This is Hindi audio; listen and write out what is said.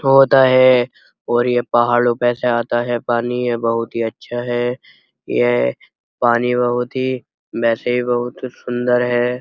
पौधा है और ये पहाड़ो पे से आता है। ये पानी बहोत ही अच्छा है। ये पानी बहोत ही वैसे बहोत सुन्दर है।